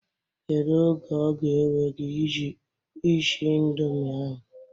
Kedu oge ọ ga-ewe gị ishi ịndomi ahụ?